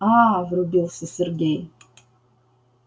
аа врубился сергей